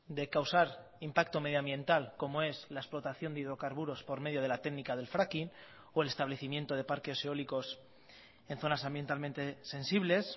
de causar impacto medioambiental como es la explotación de hidrocarburos por medio de la técnica del fracking o el establecimiento de parques eólicos en zonas ambientalmente sensibles